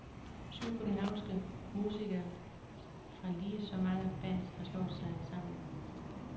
Syv københavnske musikere fra lige så mange bands har slået sig sammen.